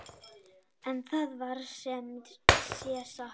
En það var sem sé satt.